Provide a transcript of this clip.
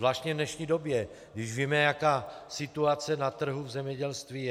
Zvláště v dnešní době, když víme, jaká situace na trhu v zemědělství je.